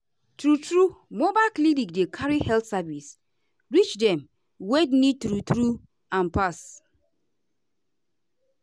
true-true mobile clinic dey carry health service reach dem wey needtrue-true am pass.